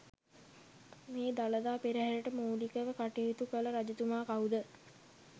මේ දළදා පෙරහරට මූලිකව කටයුතු කළ රජතුමා කවුද?